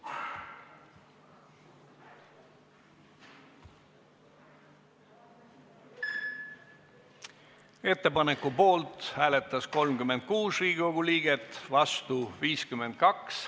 Hääletustulemused Ettepaneku poolt hääletas 36 Riigikogu liiget, vastu 52.